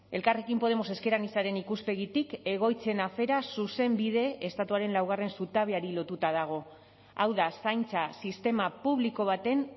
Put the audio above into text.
elkarrekin podemos ezker anitzaren ikuspegitik egoitzen afera zuzenbide estatuaren laugarren zutabeari lotuta dago hau da zaintza sistema publiko baten